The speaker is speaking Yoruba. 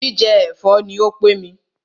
Jíjẹ ẹ̀fọ́ ní o pé mí.